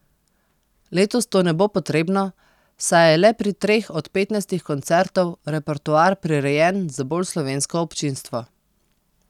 Letos to ne bo potrebno, saj je le pri treh od petnajstih koncertov repertoar prirejen za bolj slovensko občinstvo.